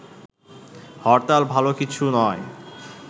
হরতাল ভালো কিছু নয়